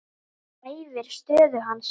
Hæfir stöðu hans.